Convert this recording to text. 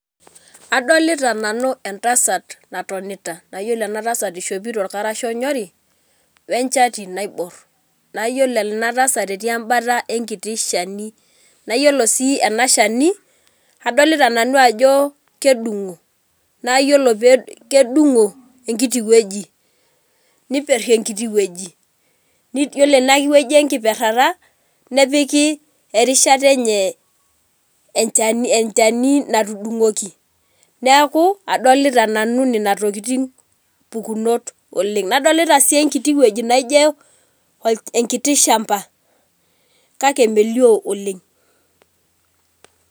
Adolita nanu entsat natonita na iyolo enatasat ishopito orkarasha onyori wenchati naibor, na iyolo enatasat etii enkalo enkiti shani, na iyolo si enashani adolta nanu ajo kedungo nayiolo pe kedungo enkiti wueji, niperi enkiti enkiti wueji yiolo enewueji enkiperara nepiki erishata enye enchani natudungoki neaku adolita nanu tokitin mpukunot oleng, nadolta si enkiti toki naijo orkiti shamba kake melio oleng